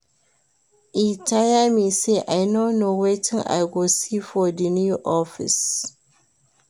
E tire me sey I no know wetin I go see for di new office.